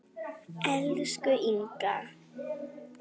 Elsku Inga.